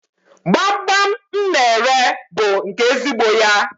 Gbamgbam m na-ere bụ nke ezigbo ya.